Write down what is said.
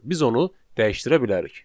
Biz onu dəyişdirə bilərik.